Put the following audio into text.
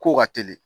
Kow ka teli